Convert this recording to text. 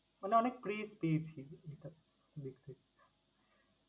মানে অনেক crise বুঝলি তা দেখতে।